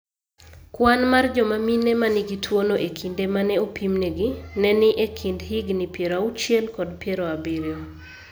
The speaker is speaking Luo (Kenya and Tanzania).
Kwan mar joma mine ma nigi tuwono e kinde ma ne opimnegi, ne ni e kind higini 60 kod 70.